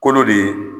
Kolo de ye